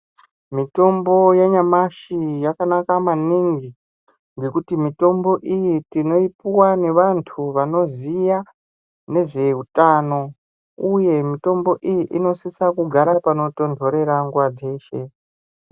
Mitombo yanyamashi yakanaka maningi nekuti mitombo iyi tinoipuwa nevantu vanoziya nezveutano uye mutombo iyi inosisa kugara panotontorera mguwa dzeshe.